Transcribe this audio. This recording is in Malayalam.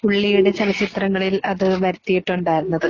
പുള്ളിയുടെ ചലച്ചിത്രങ്ങളിൽ അത് വരുത്തിയിട്ടുണ്ടായിരുന്നത്.